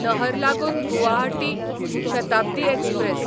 नहरलागून Guwahati Shatabdi express